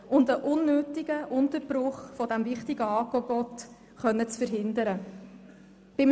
Und wir müssen einen unnötigen Unterbruch dieses wichtigen Angebots verhindern können.